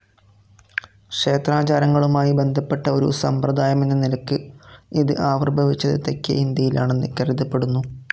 ക്ഷേത്രാചാരങ്ങളുമായി ബന്ധപ്പെട്ട ഒരു സമ്പ്രദായമെന്ന നിലയ്ക്ക് ഇത് ആവിർഭവിച്ചത് തെക്കേ ഇന്ത്യയിലാണെന്ന് കരുതപ്പെടുന്നു.